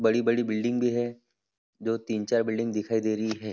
बड़ी बड़ी बिल्डिंग भी है जो तिन चार बिल्डिंग दिखाई दे रही है।